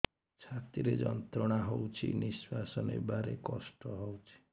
ଛାତି ରେ ଯନ୍ତ୍ରଣା ହଉଛି ନିଶ୍ୱାସ ନେବାରେ କଷ୍ଟ ହଉଛି